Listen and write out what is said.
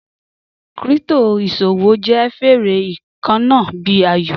Crypto iṣowo jẹ fere kanna bi ayo